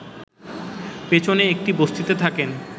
পেছনের একটি বস্তিতে থাকেন